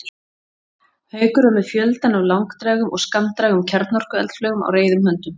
Haukur var með fjöldann af langdrægum og skammdrægum kjarnorkueldflaugum á reiðum höndum.